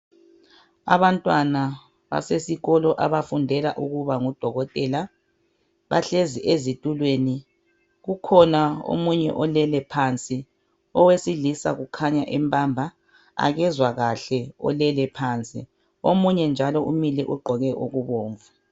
Abantwana basesikolo abafundela ukuba ngodokotela bahlezi ezitulweni kukhona omunye olele phansi owesilisa kukhanya empamba akezwa kahle olelephansi omunye njalo umile ugqoke okubomvu